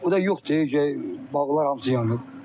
O da yoxdur, bağlar hamısı yanıb.